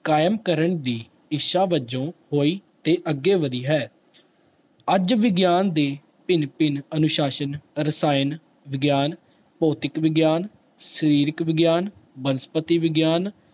ਕਾਇਮ ਕਰਨ ਦੀ ਇੱਛਾ ਵਜੋ ਹੋਈ ਤੇ ਅੱਗੇ ਵਧੀ ਹੈ, ਅੱਜ ਵਿਗਿਆਨ ਦੇ ਭਿੰਨ ਭਿੰਨ ਅਨੁਸਾਸਨ, ਰਸਾਇਣ ਵਿਗਿਆਨ, ਭੋਤਿਕ ਵਿਗਿਆਨ, ਸਰੀਰਕ ਵਿਗਿਆਨ, ਬਸਪਤੀ ਵਿਗਿਆਨ